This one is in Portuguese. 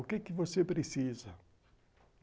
O que que você precisa?